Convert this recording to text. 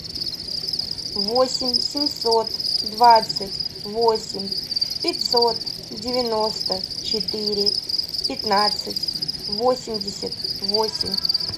восемь семьсот двадцать восемь пятьсот девяносто четыре пятнадцать восемьдесят восемь